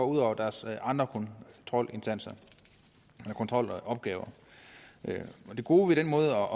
ud over deres andre kontrolopgaver det gode ved den måde